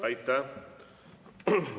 Aitäh!